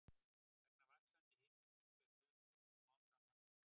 Vegna vaxandi hitastigs fer suðurpóllinn smám saman minnkandi.